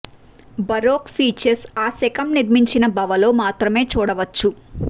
baroque features ఆ శకం నిర్మించిన భవ లో మాత్రమే చూడవచ్చు